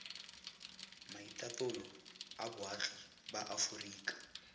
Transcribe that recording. maitatolo a boagi ba aforika